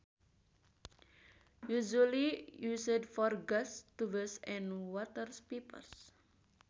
Usually used for gas tubes and water pipes